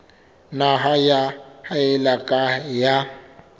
nna ya haella ka ha